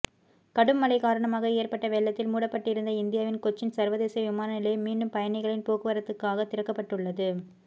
கடும் மழை காரணமாக ஏற்பட்ட வெள்ளத்தில் மூடப்பட்டிருந்த இந்தியாவின் கொச்சின் சர்வதேச விமான நிலையம் மீண்டும் பயணிகளின் போக்குவரத்துக்காக திறக்கப்பட்டுள்ளது